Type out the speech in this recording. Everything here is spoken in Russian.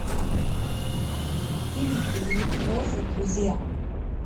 фильм ильи фрэза друзья